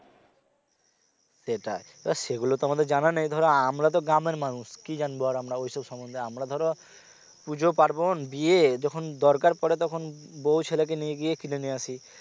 সেটাই তো সেগুলো তো আমাদের জানা নেই ধরো আমরা তো গ্রামের মানুষ কি জানব না আর ওইসব সমন্ধে আমরা ধরো পূজো পার্বন বিয়ে যখন দরকার পরে তখন বউ ছেলেকে নিয়ে গিয়ে কিনে নিয়ে আসি।